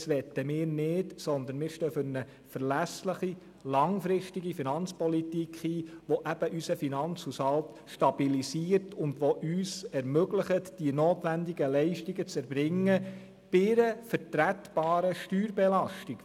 Das möchten wir nicht, sondern wir stehen für eine verlässliche, langfristige Finanzpolitik ein, die unseren Finanzhaushalt stabilisiert und die uns ermöglicht, die notwendigen Leistungen zu erbringen, bei einer vertretbaren Steuerbelastung.